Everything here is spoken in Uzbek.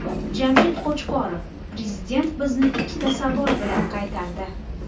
Jamshid Qo‘chqorov: Prezident bizni ikkita savol bilan qaytardi.